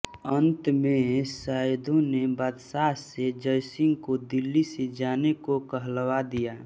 अन्त में सैयदों ने बादशाह से जयसिंह को दिल्ली से जाने को कहलवा दिया